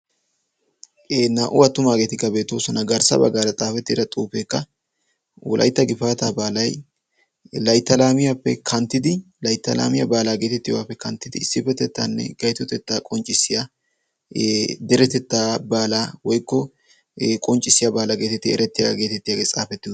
e naa77u attumaageetikka beetoosona garssa baggaara xaafettida xuufeekka ulaitta gifaata baalai laitalaamiyaappe kanttidi laittalaamiyaa baalaa geetettiyouwaappe kanttidi issippetettaanne gaitotettaa qonccissiya deretettaa baalaa woikko qonccissiyaa baalaa geetetti erettiyagaageetettiyaagee xaafettid uttis